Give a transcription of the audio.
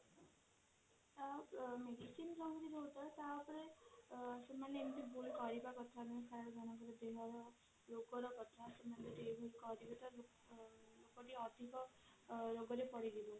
ସେମାନେ ଏମିତି ଭୁଲ କରିବା କଥା ନୁହଁ ରୋଗର କଥା ଜଣେ ଅଧିକ ରୋଗରେ ପଡିଛନ୍ତି